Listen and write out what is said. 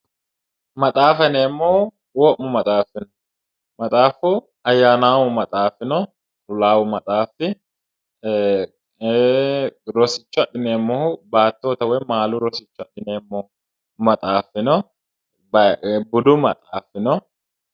maxaafa yineemmohu wo'mu maxaafi no maxaafu ayyaanaamu maxaafi no qullaawu maxaafi no rosicho afhineemmohu baattonnita woyi maalunnita rosicho adhineemmohu budu maxaafi no